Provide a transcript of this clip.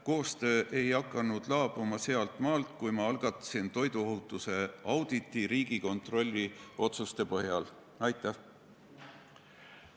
Koostöö ei laabunud sealtmaalt, kui ma Riigikontrolli otsuse põhjal algatasin toiduohutuse auditi.